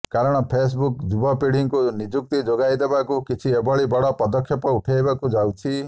କାରଣ ଫେସବୁକ୍ ଯୁବପୁଢୀଙ୍କୁ ନିଯୁକ୍ତି ଯୋଗଇଦେବାକୁ କିଛି ଏଭଳି ବଡ ପଦକ୍ଷେପ ଉଠାଇବାକୁ ଯାଉଛି